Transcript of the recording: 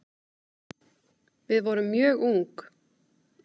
Við vorum mjög ung